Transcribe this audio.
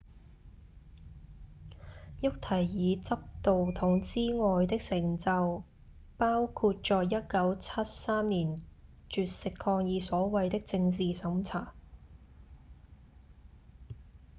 沃提爾執導筒之外的成就包括在1973年絕食抗議所謂的政治審查